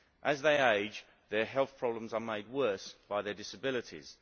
As they age, their health problems are made worse by their disabilities.